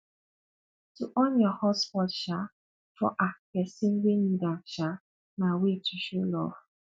to on your hotspot um for um pesin wey need am um na way to show love